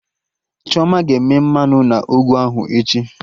Chioma ga-eme mmanụ na ọgụ ahụ echi